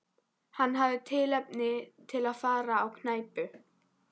Hann hafði tilefni til að fara á knæpu.